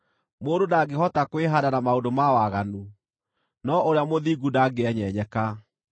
Mũndũ ndangĩhota kwĩhaanda na maũndũ ma waganu, no ũrĩa mũthingu ndangĩenyenyeka.